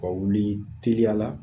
Ka wuli teliyala